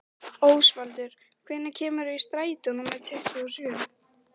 Ósvaldur, hvenær kemur strætó númer tuttugu og sjö?